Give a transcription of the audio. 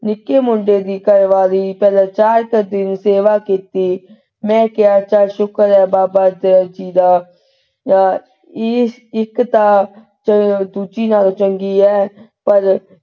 ਨਿੱਕੇ ਮੁੰਡੇ ਦੀ ਘਰ ਵਾਲੀ ਨੇ ਚਲੋ ਵੀ ਚਾਰ ਕੁ ਦਿਨ ਸੇਵਾ ਕੀਤੀ ਮੈਂ ਕਿਹਾ ਚਲ ਸ਼ੁਕਰ ਆ ਬਾਬਾ ਦੇਵ ਜੀ ਦਾ ਇਕ ਤਾਂ ਚਲੋ ਦੂਜੀ ਨਾਲੋਂ ਚੰਗੀ ਐ ਪਰ,